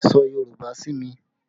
Sọ Yorùbá sí mi!